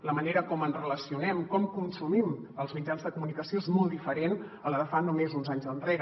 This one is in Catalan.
la manera com ens relacionem com consumim els mitjans de comunicació és molt diferent a la de fa només uns anys enrere